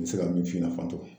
Me se ka min f'i ɲɛna